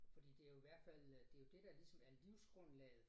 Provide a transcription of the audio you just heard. Fordi det jo hvert fald øh det jo det der ligesom er livsgrundlaget